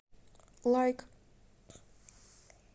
лайк